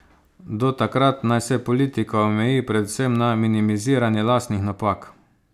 Do takrat naj se politika omeji predvsem na minimiziranje lastnih napak.